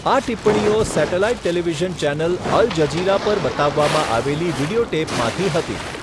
આ ટિપ્પણીઓ satellite television channel Al Jazeera પર બતાવવામાં આવેલી વિડિયો ટેપમાંથી હતી.